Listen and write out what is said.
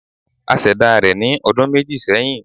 A ṣẹ̀dá rẹ̀ ní ọdun méjì sẹ́hìn.